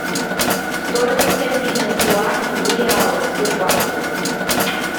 стоимость обмена юаней в реалы в сбербанке